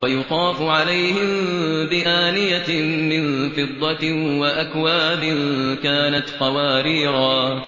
وَيُطَافُ عَلَيْهِم بِآنِيَةٍ مِّن فِضَّةٍ وَأَكْوَابٍ كَانَتْ قَوَارِيرَا